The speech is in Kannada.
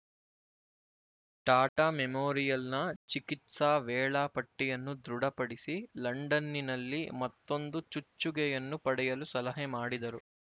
ಟಾಟಾ ಮೆಮೋರಿಯಲ್‍ನ ಚಿಕಿತ್ಸಾ ವೇಳಾ ಪಟ್ಟಿಯನ್ನು ದೃಢಪಡಿಸಿ ಲಂಡನ್ನಿನಲ್ಲಿ ಮತ್ತೊಂದು ಚುಚ್ಚುಗೆಯನ್ನು ಪಡೆಯಲು ಸಲಹೆ ಮಾಡಿದರು